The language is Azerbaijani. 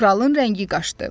Kralın rəngi qaşdı.